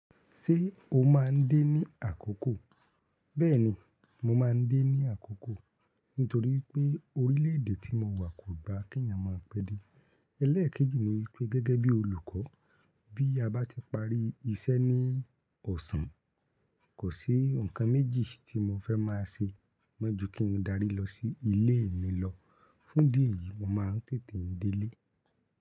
Ṣé o máa ń dé ní àkókò? Bẹ́ẹ̀ni, mo máa ń dé ní àkókò nítorí pé orílè èdè tí mo wà kò gba keeyàn máa pẹ́ dé. Ẹlẹ́ẹ̀kejì ni gẹ́gegẹ́ bí olùkọ́, bí a bá ti parí iṣẹ́ ní ọ̀sán, kò sí ǹkan méjì tí mo fẹ́ maa ṣe mọ́ jú kí n darí lọ sí ilé mi lọ. Fún dì eyìí, mo máa ń tètè n délé.